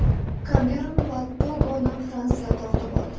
Kamerun va Togoni Fransiya tortib oldi.